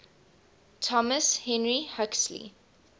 thomas henry huxley